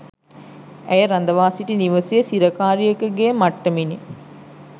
ඇය රඳවා සිටි නිවසේ සිරකාරියක ගේ මට්ටමිනි